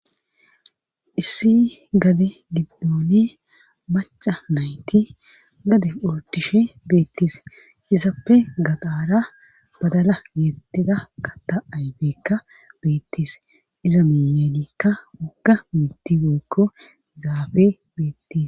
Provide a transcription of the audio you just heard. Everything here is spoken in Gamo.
issi gade giddoni maca nayti gade ootishe beettes hisappe gaxaara badala yedida kata aybekka beettis iza miyenikka woga mita woyikko zaafe beettes